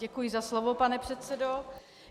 Děkuji za slovo, pane předsedo.